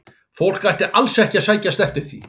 Fólk ætti alls ekki að sækjast eftir því.